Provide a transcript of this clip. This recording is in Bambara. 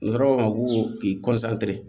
N kɔrɔ ko ma ko